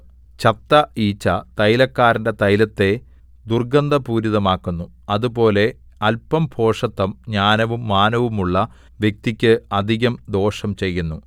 ചത്ത ഈച്ച തൈലക്കാരന്റെ തൈലത്തെ ദുർഗന്ധപൂരിതമാക്കുന്നു അതുപോലെ അല്പം ഭോഷത്തം ജ്ഞാനവും മാനവും ഉള്ള വ്യക്തിക്ക് അധികം ദോഷം ചെയ്യുന്നു